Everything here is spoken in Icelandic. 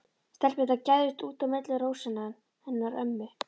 Stelpurnar gægðust út á milli rósanna hennar ömmu.